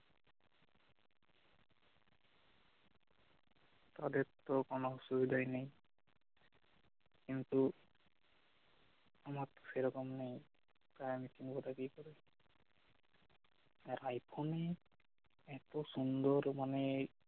তাদের তো কোন অসুবিধাই নেই কিন্তু আমার তো সেইরকম নেই তাই আমি কিনবো টা কিকরে আর আইফোনেই এত সুন্দর মানে